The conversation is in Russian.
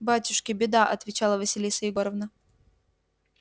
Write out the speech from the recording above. батюшки беда отвечала василиса егоровна